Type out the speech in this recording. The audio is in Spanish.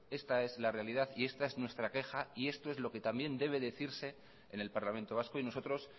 esta es la realidad y esta es nuestra queja y esto es lo que también debe decirse en el parlamento vasco y nosotros